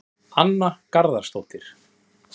Anna Garðarsdóttir